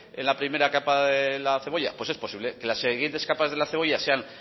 en la primera capa de la cebolla pues es posible que las siguientes capas de las cebollas sean